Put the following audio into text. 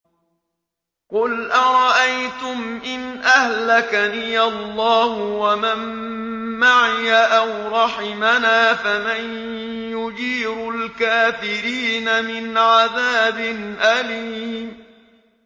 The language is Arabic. قُلْ أَرَأَيْتُمْ إِنْ أَهْلَكَنِيَ اللَّهُ وَمَن مَّعِيَ أَوْ رَحِمَنَا فَمَن يُجِيرُ الْكَافِرِينَ مِنْ عَذَابٍ أَلِيمٍ